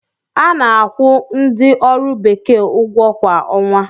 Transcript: A na-akwụ ndi ọrụ bekee ụgwọ kwa ọnwa.